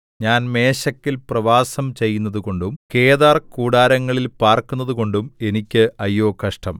ഞാൻ മേശെക്കിൽ പ്രവാസം ചെയ്യുന്നതുകൊണ്ടും കേദാർ കൂടാരങ്ങളിൽ പാർക്കുന്നതുകൊണ്ടും എനിക്ക് അയ്യോ കഷ്ടം